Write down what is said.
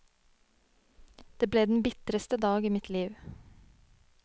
Det ble den bitreste dag i mitt liv.